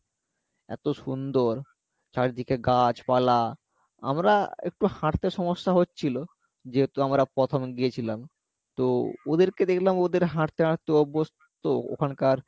এত সুন্দর চারিদিকে গাছ পালা আমরা একটু হাঁটতে সমস্যা হচ্ছিলো যেহেতু আমরা প্রথম গিয়েছিলাম তো ওদেরকে দেখলাম ওদের হাঁটতে অভ্যস্ত ওখানকার